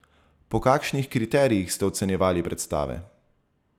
Po kakšnih kriterijih ste ocenjevali predstave?